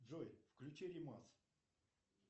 джой включи ремас